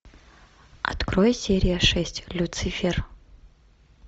открой серия шесть люцифер